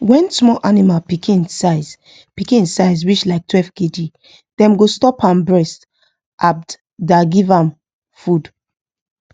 when small animal pikin size pikin size reach like 12kg them go stop am breast abd da give am food